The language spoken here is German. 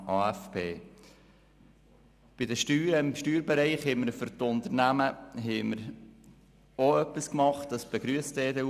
Die EDU-Fraktion begrüsst es, dass für die Unternehmen im Steuerbereich etwas gemacht worden ist.